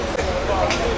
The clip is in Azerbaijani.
Saxla.